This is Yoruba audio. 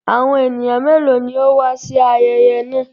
Àwọn ènìyàn mélòó ni ó wà sí ayẹyẹ náà?